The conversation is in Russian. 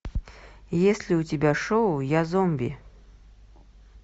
есть ли у тебя шоу я зомби